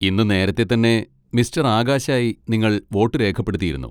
ഇന്ന് നേരത്തെ തന്നെ മിസ്റ്റർ ആകാശ് ആയി നിങ്ങൾ വോട്ട് രേഖപ്പെടുത്തിയിരുന്നു.